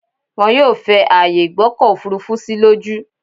Wọn yóò fẹ ààyè ìgbọ́kọ̀ òfurufú sí lójú.